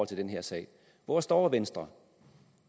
til den her sag hvor står venstre